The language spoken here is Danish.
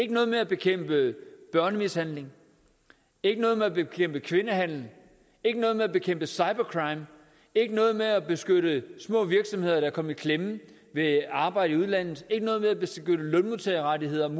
ikke noget med at bekæmpe børnemishandling ikke noget med at bekæmpe kvindehandel ikke noget med at bekæmpe cybercrime ikke noget med at beskytte små virksomheder der er kommet i klemme ved arbejde i udlandet ikke noget med at beskytte lønmodtagerrettigheder og